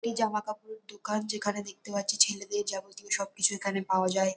এই জামাকাপড় দোকান যেখানে দেখতে পাচ্ছি ছেলেদের যাবতীয় সবকিছু এখানে পাবা যায়।